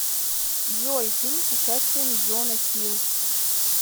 джой фильм с участием джона хил